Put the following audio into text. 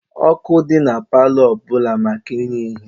Ọkụ dị na palọ ọbụla maka inye ihe.